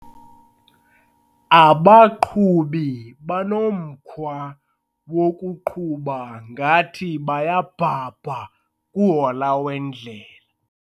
Abaqhubi banomkhwa wokuqhuba ngathi bayabhabha kuhola wendlela.